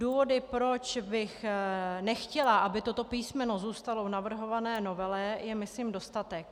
Důvodů, proč bych nechtěla, aby toto písmeno zůstalo v navrhované novele, je myslím dostatek.